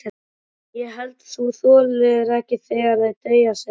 Ég held þú þolir ekki þegar þau deyja, sagði hann.